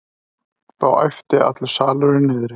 Þá æpti allur salurinn niðri.